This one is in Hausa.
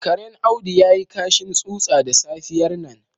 Karen Audu ya yi kashin tsutsa da safiyar nan.